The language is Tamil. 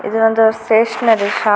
இது வந்து ஸ்டேஷனரி ஷாப் .